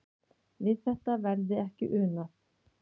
Við þetta verði ekki unað.